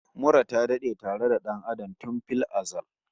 Mura ta dade tare da dan Adam tun fil azal